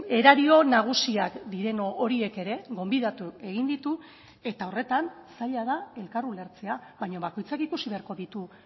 erario nagusiak diren horiek ere gonbidatu egin ditu eta horretan zaila da elkar ulertzea baina bakoitzak ikusi beharko ditu